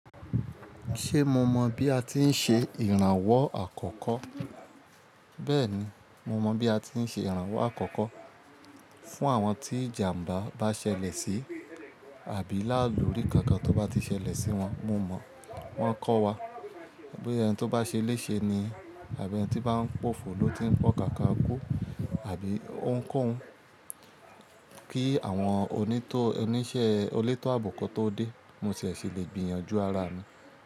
Ṣé mo mọ̀ bí a ti ń ṣe ìrànwọ́ àkọ́kọ́? Bẹ́ẹ̀ni, mo mọ̀ bí a ti ń ṣe ìrànwọ́ àkọ́kọ́. Fún àwọn tí ìjàmbá bá ṣẹlẹ̀ sí àbí láàlúrí kankan tó bá ti ṣẹlẹ̀ sí wọn, mo mọ̀ wọ́n ń kọ́ wa bóyá ẹni tó bá ṣẹléṣe ni àbí ẹni tí bá ń pòfoló ti ń pọ́kaka kú àbí óhuń k'óun. Kí àwọn oníṣẹ́ olétọ́ àbo tó dé, mo ṣẹ̀ ṣì lè gbìyànjú ara mi.